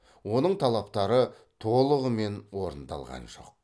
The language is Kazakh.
оның талаптары толығымен орындалған жоқ